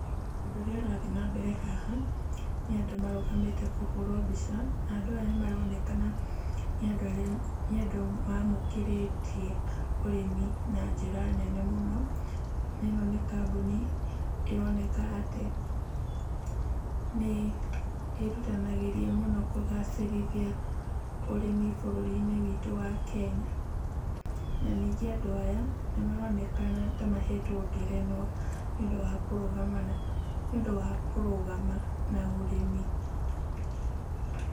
Ũndũ ũrĩa ũrathi nambere haha, nĩ andũ marũgamĩte kũhũrwo mbica, na andũ aya nĩmaronekena nĩ andũ arĩa, nĩ andũ maamũkĩrĩtie urĩmi na njĩra nene mũno, na ĩno nĩ kambuni ĩroneka atĩ nĩ ĩrutanagĩria mũno kũgacĩrithia ũrĩmi bũrũri-inĩ witũ wa Kenya. Na ningĩ andũn aya, nĩmaronekana ta mahetwo ngerenwa, nĩũndũ wa kũrũgama na , nĩũndũ wa kũrũgama na ũrĩmi.